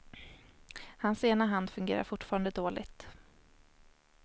Hans ena hand fungerar fortfarande dåligt.